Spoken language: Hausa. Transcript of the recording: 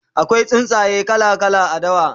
akwai tsuntsaye kala kala a dawa